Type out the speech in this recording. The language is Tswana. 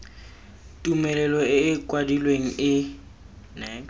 tumelelo e e kwadilweng e